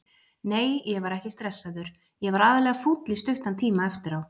Nei ég var ekki stressaður, ég var aðallega fúll í stuttan tíma eftir á.